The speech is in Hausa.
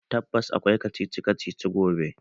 Tabbas akwai kacici kacici gobe.